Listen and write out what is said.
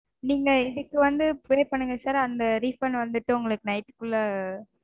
நீங்க இதுக்கு வந்து pay பண்ணுங்க sir. அந்த refund வந்துட்டு உங்களுக்கு night -க்குள்ள